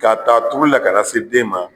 K'a t'a turulila ka na se den ma